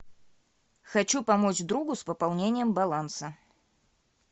хочу помочь другу с пополнением баланса